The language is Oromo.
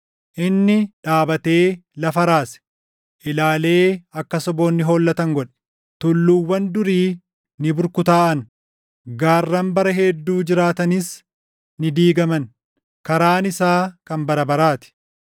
Inni dhaabatee lafa raase; ilaalee akka saboonni hollatan godhe. Tulluuwwan durii ni burkutaaʼan; gaarran bara hedduu jiraatanis ni diigaman. Karaan isaa kan bara baraa ti.